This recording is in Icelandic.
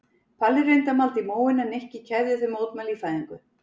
Palli reyndi að malda í móinn en Nikki kæfði þau mótmæli í fæðingu.